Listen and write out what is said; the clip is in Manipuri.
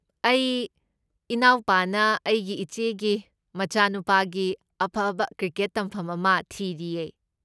ꯑꯩ ꯏꯅꯥꯎꯄꯥꯅ ꯑꯩꯒꯤ ꯏꯆꯦꯒꯤ ꯃꯆꯥꯅꯨꯄꯥꯒꯤ ꯑꯐꯕ ꯀ꯭ꯔꯤꯀꯦꯠ ꯇꯝꯐꯝ ꯑꯃ ꯊꯤꯔꯤꯌꯦ꯫